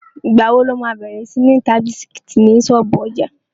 Ìgbà wo lo má bẹ̀rẹ̀ sí ń ta bisikítì ní ṣọ́ọ̀bú ọjà?